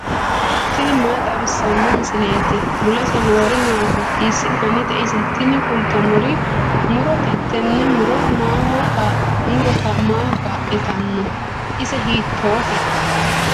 tini maa xawissanno misileeti ? mulese noori maati ? hiissinannite ise ? tini kultannori murote tini muro maaho kaa'litanno? ise hiittoote?